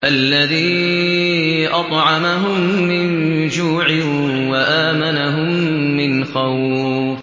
الَّذِي أَطْعَمَهُم مِّن جُوعٍ وَآمَنَهُم مِّنْ خَوْفٍ